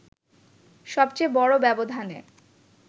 সবচেয়ে বড় ব্যবধানে